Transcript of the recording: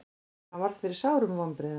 Hann varð fyrir sárum vonbrigðum.